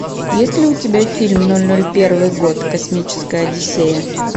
есть ли у тебя фильм ноль ноль первый год космическая одиссея